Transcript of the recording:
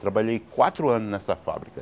Trabalhei quatro anos nessa fábrica.